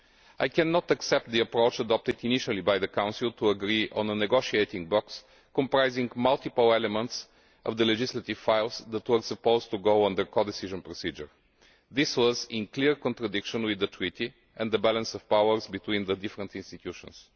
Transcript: I cannot accept the approach adopted initially by the Council, to agree on a negotiating box comprising multiple elements of the legislative files that were supposed to follow the codecision procedure. This was in clear contradiction with the Treaty and the balance of powers between the different institutions.